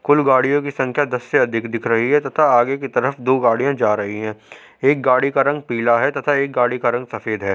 कुल गाडियों की संख्या दस से अधिक दिख रही है तथा आगे की तरफ दो गाड़िया जा रही है एक गाड़ी का रंग पीला है तथा एक गाडी का रंग सफ़ेद है।